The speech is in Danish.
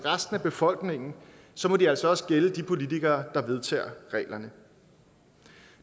befolkningen så må de altså også gælde for de politikere der vedtager reglerne